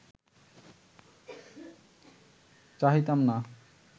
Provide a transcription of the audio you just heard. চাহিতাম না